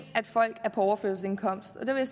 at folk er på overførselsindkomst og der vil